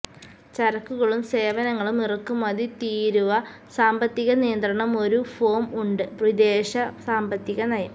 ചരക്കുകളും സേവനങ്ങളും ഇറക്കുമതി തീരുവ സാമ്പത്തിക നിയന്ത്രണം ഒരു ഫോം ഉണ്ട് വിദേശ സാമ്പത്തിക നയം